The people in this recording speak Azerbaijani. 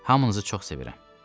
hamınızı çox sevirəm.